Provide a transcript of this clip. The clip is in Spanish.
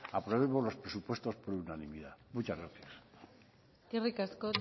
aprobemos los presupuestos por unanimidad muchas gracias eskerrik asko